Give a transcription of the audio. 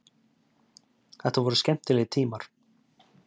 Þetta voru skemmtilegir tímar.